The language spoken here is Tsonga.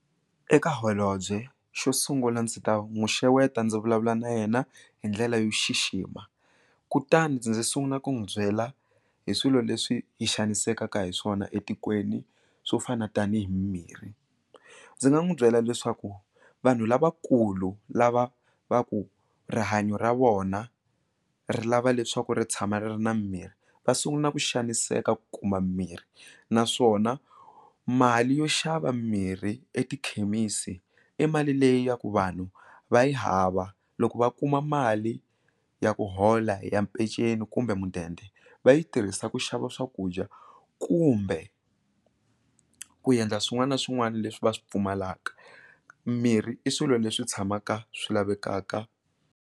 Eka holobye xo sungula ndzi ta n'wi xeweta ndzi vulavula na yena hi ndlela yo xixima kutani ndzi ndzi sungula ku n'wi byela hi swilo leswi hi xanisekaka hi swona etikweni swo fana tanihi mirhi ndzi nga n'wi byela leswaku vanhu lavakulu lava va ku rihanyo ra vona ri lava leswaku ri tshama ri ri na mimirhi va sungula ku xaniseka ku kuma mirhi naswona mali yo xava mirhi etikhemisi i mali leyi ya ku vanhu va yi hava loko va kuma mali ya ku hola hi ya mpenceni kumbe mudende va yi tirhisa ku xava swakudya kumbe ku endla swin'wana na swin'wana leswi va swi pfumalaka mirhi i swilo leswi tshamaka swi lavekaka.